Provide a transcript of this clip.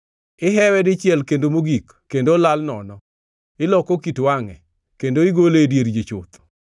Ihewe dichiel kendo mogik, kendo olal nono; iloko kit wangʼe, kendo igole e dier ji chuth.